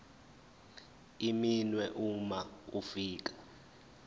iminwe uma ufika